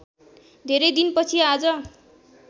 धेरै दिनपछि आज